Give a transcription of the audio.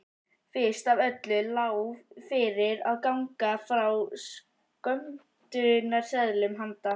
Fyrst af öllu lá fyrir að ganga frá skömmtunarseðlum handa